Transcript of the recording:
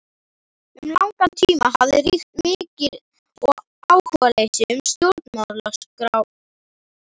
Um langan tíma hafði ríkt mikið áhugaleysi um Stjórnarskrármálið.